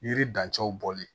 Yiri dancɛw bɔli